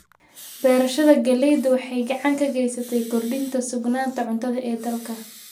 Beerashada galleyda waxay gacan ka geysataa kordhinta sugnaanta cuntada ee dalka.